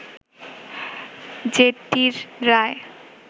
যেটির রায়